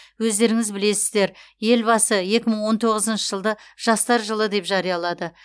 өздеріңіз білесіздер елбасы екі мың он тоғызыншы жылды жастар жылы деп жариялады